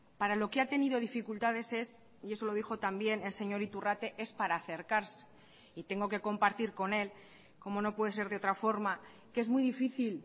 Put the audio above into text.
para lo que ha tenido dificultades es y eso lo dijo también el señor iturrate es para acercarse y tengo que compartir con él como no puede ser de otra forma que es muy difícil